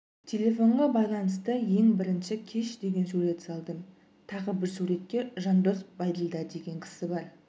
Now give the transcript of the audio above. телефонға байланысты ең бірінші кеш деген сурет салдым тағы бір суретке жандос байділдә деген кісі бір